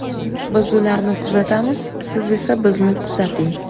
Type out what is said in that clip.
Biz ularni kuzatamiz, siz esa bizni kuzating!